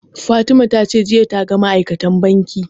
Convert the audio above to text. Fatima ta ce jiya ta ga ma'aikacin banki